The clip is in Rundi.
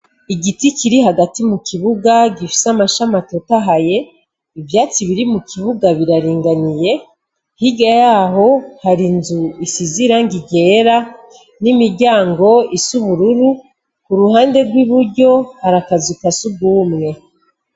Igiti Kiri hagati mukibuga gifise amashami atotahaye, ivyatsi biri mukibuga biraringaniye, hirya yaho hari inzu isize irangi ryera, n'imiryango is'ubururu, uruhande rw'iburyo hari akazu kasugumwe.